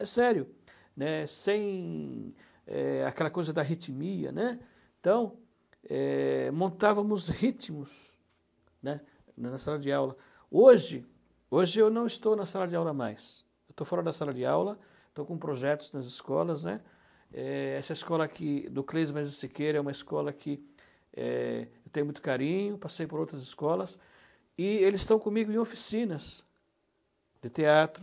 É sério né Sem é aquela coisa da arritmia né Então é Montávamos ritmos né Na sala de aula Hoje Hoje eu não estou na sala de aula mais Estou fora da sala de aula Estou com projetos nas escolas né é Essa escola aqui É uma escola que é eu Tenho muito carinho Passei por outras escolas E eles estão comigo em oficinas De teatro